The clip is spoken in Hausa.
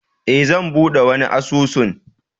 E, zan buɗe wani asusun